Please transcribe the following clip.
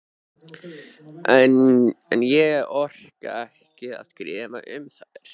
En ég orka ekki að skrifa um þær.